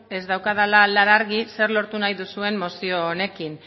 ez daukadala garbi zer lortu nahi duzuen mozio honekin